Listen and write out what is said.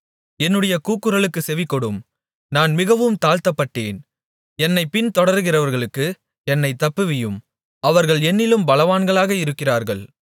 என்னுடைய கூக்குரலுக்குச் செவிகொடும் நான் மிகவும் தாழ்த்தப்பட்டேன் என்னைப் பின்தொடருகிறவர்களுக்கு என்னைத் தப்புவியும் அவர்கள் என்னிலும் பலவான்களாக இருக்கிறார்கள்